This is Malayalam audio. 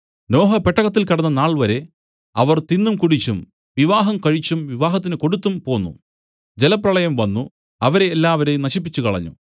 നോഹ പെട്ടകത്തിൽ കടന്ന നാൾവരെ അവർ തിന്നും കുടിച്ചും വിവാഹം കഴിച്ചും വിവാഹത്തിന് കൊടുത്തും പോന്നു ജലപ്രളയം വന്നു അവരെ എല്ലാവരെയും നശിപ്പിച്ചുകളഞ്ഞു